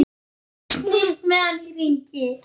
Snýst með hann í hringi.